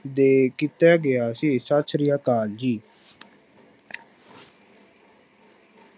ਦੇ ਕੀਤਾ ਗਿਆ ਸੀ, ਸਤਿ ਸ੍ਰੀ ਅਕਾਲ ਜੀ।